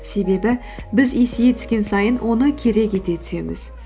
себебі біз есейе түскен сайын оны керек ете түсеміз